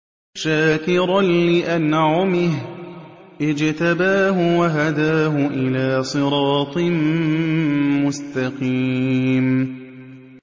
شَاكِرًا لِّأَنْعُمِهِ ۚ اجْتَبَاهُ وَهَدَاهُ إِلَىٰ صِرَاطٍ مُّسْتَقِيمٍ